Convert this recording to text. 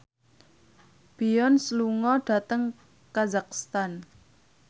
Beyonce lunga dhateng kazakhstan